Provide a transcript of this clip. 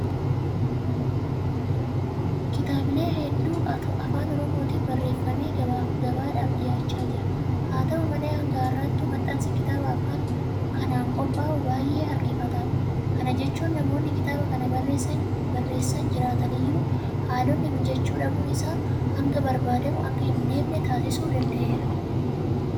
Kitaabilee hedduutu Afaan Oromootiin barreeffamee gabaadhaaf dhiyaachaa jira. Haata'u malee hanga har'aattuu maxxansi kitaaba afaan kanaan qophaa'uu baay'ee harkifataadha. Kana jechuun namoonni kitaaba kana barreessan jiraataniyyuu haalonni mijachuu dhabuun isaan hanga barbaadamu akka hin deemne taasisuu danda'eera.